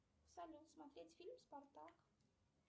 салют смотреть фильм спартак